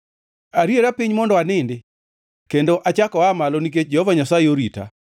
Ariera piny mondo anindi; kendo achako aa malo, nikech Jehova Nyasaye orita.